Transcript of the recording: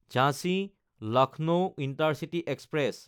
ঝাঞ্চি–লক্ষ্ণৌ intercity express